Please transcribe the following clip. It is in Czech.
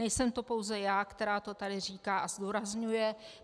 Nejsem to pouze já, která to tady říká a zdůrazňuje.